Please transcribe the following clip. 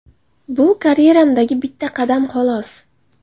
Bu karyeramdagi bitta qadam, xolos.